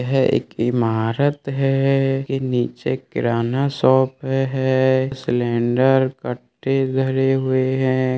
यह एक ईमारत है के नीचे किराना शॉप है सिलिंडर भरी हुई है।